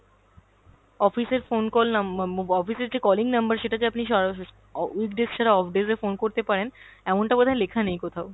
office এর phone call নাম~ um office এর যে calling number সেটা যে আপনি সরাস~ অ weekdays ছাড়া off days এ phone করতে পারেন এমনটা বোধ হয় লেখা নেই কোথাও।